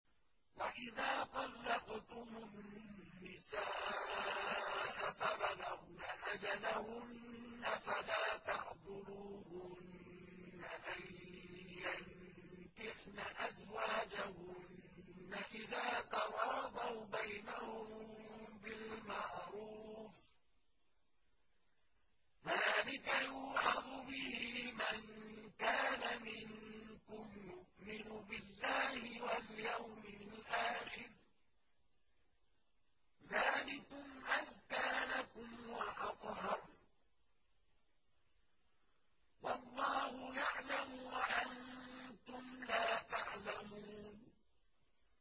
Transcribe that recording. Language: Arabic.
وَإِذَا طَلَّقْتُمُ النِّسَاءَ فَبَلَغْنَ أَجَلَهُنَّ فَلَا تَعْضُلُوهُنَّ أَن يَنكِحْنَ أَزْوَاجَهُنَّ إِذَا تَرَاضَوْا بَيْنَهُم بِالْمَعْرُوفِ ۗ ذَٰلِكَ يُوعَظُ بِهِ مَن كَانَ مِنكُمْ يُؤْمِنُ بِاللَّهِ وَالْيَوْمِ الْآخِرِ ۗ ذَٰلِكُمْ أَزْكَىٰ لَكُمْ وَأَطْهَرُ ۗ وَاللَّهُ يَعْلَمُ وَأَنتُمْ لَا تَعْلَمُونَ